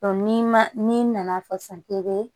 n'i ma n'i nana fɔ sisan k'i be